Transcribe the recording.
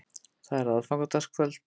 Það er aðfangadagskvöld.